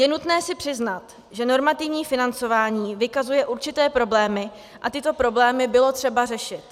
Je nutné si přiznat, že normativní financování vykazuje určité problémy a tyto problémy bylo třeba řešit.